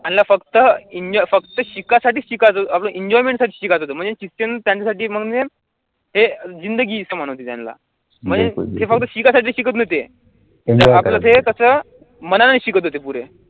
त्यांना फक्त enj फक्त शिकायसाठी शिकायचं आपलं enjoyment साठी शिकायचं होतं म्हणजे शिक्षण त्यांच्यासाठी म्हणजे हे जिंदगी समान होती त्यांना म्हणजे ते फक्त शिकायसाठी शिकत नव्हते आपलं ते कसं मनाने शिकत होते पुरे